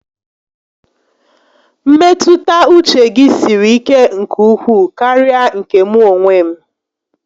Mmetụta uche gi siri ike nke ukwuu karịa nke mụ onwe m